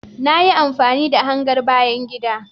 Na yi amfani da hangar bayan gida